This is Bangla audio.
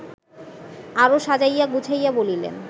আরও সাজাইয়া-গুছাইয়া বলিলেন